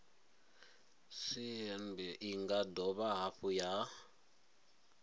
cbnrm i nga dovha hafhu